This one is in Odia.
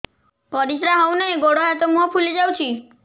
ପରିସ୍ରା ହଉ ନାହିଁ ଗୋଡ଼ ହାତ ମୁହଁ ଫୁଲି ଯାଉଛି